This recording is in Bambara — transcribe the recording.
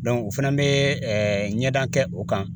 o fana bɛ ɲɛdan kɛ o kan